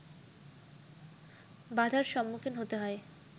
বাধার সম্মুখীন হতে হয়